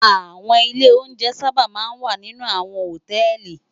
Áwòn ilé óunjè sàbá má n wá ninú áwòn hótèlí